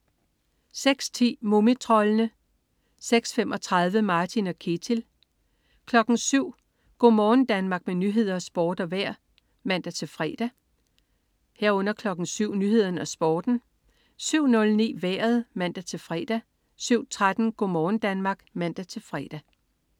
06.10 Mumitroldene (man-fre) 06.35 Martin og Ketil (man-fre) 07.00 Go' morgen Danmark med nyheder, sport og vejr (man-fre) 07.00 Nyhederne og Sporten (man-fre) 07.09 Vejret (man-fre) 07.13 Go' morgen Danmark (man-fre)